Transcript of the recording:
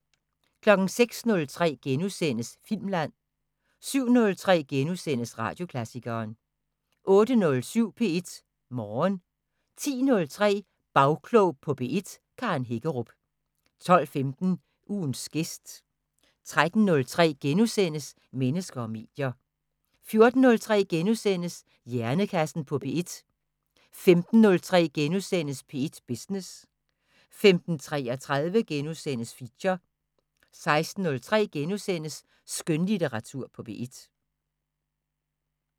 06:03: Filmland * 07:03: Radioklassikeren * 08:07: P1 Morgen 10:03: Bagklog på P1: Karen Hækkerup 12:15: Ugens gæst 13:03: Mennesker og medier * 14:03: Hjernekassen på P1 * 15:03: P1 Business * 15:33: Feature * 16:03: Skønlitteratur på P1 *